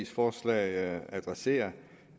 forslag adresserer